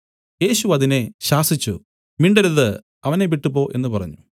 യേശു അതിനെ ശാസിച്ചു മിണ്ടരുത് അവനെ വിട്ടുപോ എന്നു പറഞ്ഞു